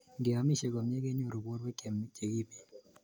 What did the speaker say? Ngeomisie komie kenyoru borwek che kimen